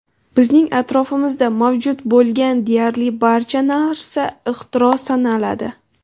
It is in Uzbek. Bizning atrofimizda mavjud bo‘lgan deyarli barcha narsa ixtiro sanaladi.